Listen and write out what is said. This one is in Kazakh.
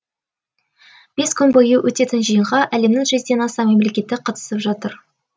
бес күн бойы өтетін жиынға әлемнің жүзден аса мемлекеті қатысып жатыр